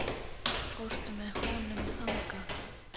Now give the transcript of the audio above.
Fórstu með honum þangað?